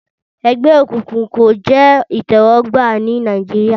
Ẹgbẹ́ òkùnkùn kò jẹ́ ìtẹ́wọ́gbà ní Nàìjíríyà